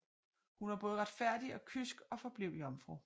Hun var både retfærdig og kysk og forblev jomfru